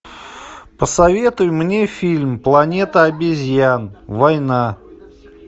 посоветуй мне фильм планета обезьян война